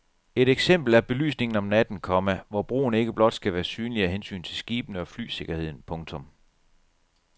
Et eksempel er belysningen om natten, komma hvor broen ikke blot skal være synlig af hensyn til skibene og flysikkerheden. punktum